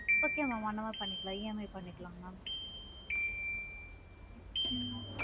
Okay mam அந்த மாதிரி பண்ணிக்கலாமா EMI பண்ணிக்கலாம் ma'am ம்